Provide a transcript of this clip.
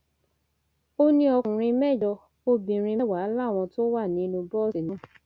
ó ní ọkùnrin mẹjọ obìnrin mẹwàá làwọn tó wà nínú bọọsì náà